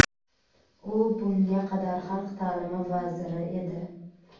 U bunga qadar xalq taʼlimi vaziri edi.